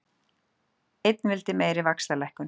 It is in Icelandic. Einn vildi meiri vaxtalækkun